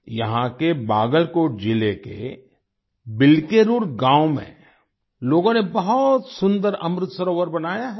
यहाँ के बागलकोट जिले के बिल्केरूर गाँव में लोगों ने बहुत सुंदर अमृत सरोवर बनाया है